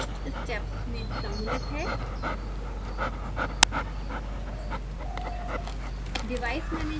निम्न विशिष्ट स्टेप्स में सम्मिलित है